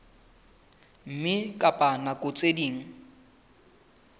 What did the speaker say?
mme ka nako tse ding